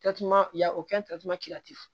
ya o